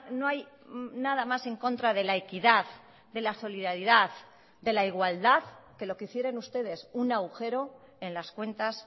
no hay nada más en contra de la equidad de la solidaridad de la igualdad que lo que hicieron ustedes un agujero en las cuentas